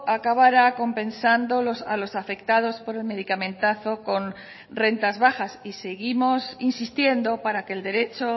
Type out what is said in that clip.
acabara compensando a los afectados por el medicamentazo con rentas bajas y seguimos insistiendo para que el derecho